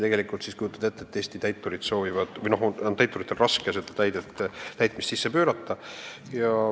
Eesti täituritel on raske seda kohustust täitmisele pöörata.